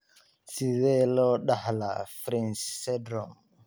Sidee loo dhaxlaa Fryns syndrome?